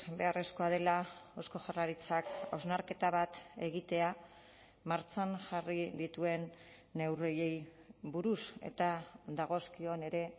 beharrezkoa dela eusko jaurlaritzak hausnarketa bat egitea martxan jarri dituen neurriei buruz eta dagozkion ere